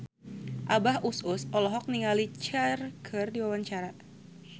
Abah Us Us olohok ningali Cher keur diwawancara